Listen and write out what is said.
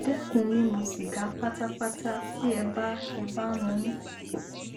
dẹkun mímú sìgá pátápátá tí ẹ bá ẹ bá ń mu ún